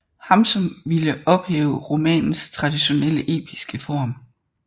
Hamsun ville ophæve romanens traditionelle episke form